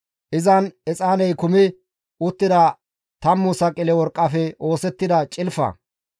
Izan exaaney kumi uttida tammu saqile worqqafe oosettida cilfa.